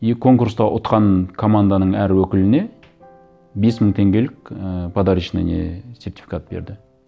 и конкурста ұтқан команданың әр өкіліне бес мың теңгелік і подарочный не сертификат берді